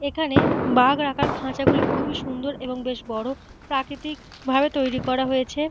এখানে বাঘ রাখার খাঁচাগুলি খুব সুন্দর এবং বেশ বড়। প্রাকৃতিক ভাবে তৈরি করা হয়েছে।